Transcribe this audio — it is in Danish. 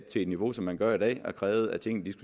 det niveau som man gør i dag og krævede at tingene